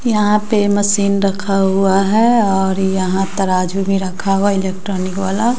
यहां पे मशीन रखा हुआ है और यहां तराजू में रखा हुआ इलेक्ट्रॉनिक वाला--